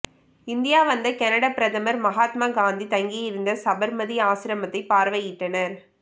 India வந்த Canada பிரதமர் மகாத்மா காந்தி தங்கியிருந்த சபர்மதி ஆசிரமத்தை பார்வையிட்டார்